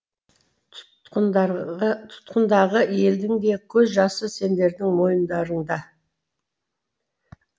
тұтқындағы елдің де көз жасы сендердің мойындарыңда